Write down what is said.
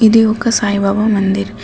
ఇది ఒక సాయిబాబా మందిర్ .